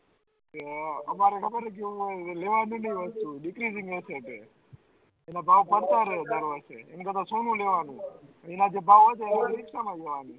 અમારે ખબર હે કેવું થયું એનો ભાવ વધતા રેહ દર વર્ષે એના જે ભાવ વધે